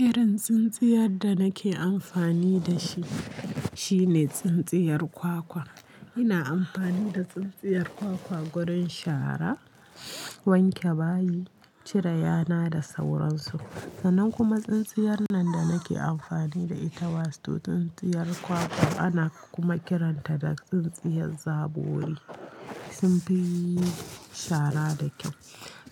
Irin tsintsiyar da nake amfani da shi, shine tsintsiyar kwakwa. Ina amfani da tsintsiyar kwakwa gurin shara, wanke bayi, cire yana da sauransu. Sannan kuma tsintsiyar nan da nake amfani da ita wato tsintsiyar kwakwa ana kuma kiranta da tsintsiyar zabori. Sun fi yi shara da kyau.